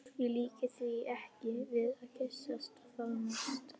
Ég líki því ekki við að kyssast og faðmast.